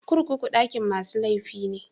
Kurkuku dakin masu laifi ne.